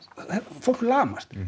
fólk lamast